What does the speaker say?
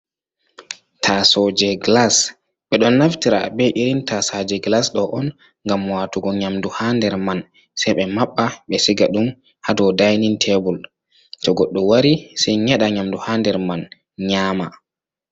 Tasow je glas. Ɓe ɗon naftira be irin tasaje glas ɗo on nham mowatugo nyamdu ha nder mai sai ɓe maɓɓa, ɓe siga ɗum ha dow dainin tebul, to goɗɗo wari sai nyeɗa nyamdu ha nder mai nyama.